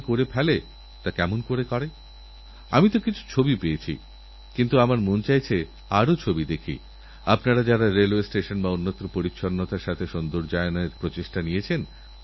একজনঅবসরপ্রাপ্ত ব্যক্তি যাঁর মেয়ের বিয়ে দেওয়া বাকি এবং বাড়িও তৈরি করতে হবে তাঁরকাছে এই মর্মে একটি এসএমএস আসে যে বিদেশ থেকে ওঁর জন্য একটি মূল্যবান উপহারএসেছে যেটা পেতে গেলে কাস্টমস্ ডিউটি বাবদ একটি ব্যাঙ্ক অ্যাকাউন্টে তাঁকে দুইলক্ষ টাকা জমা করতে হবে